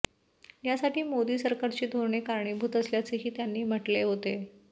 यासाठी मोदी सरकारची धोरणे कारणीभूत असल्याचेही त्यांनी म्हटले होते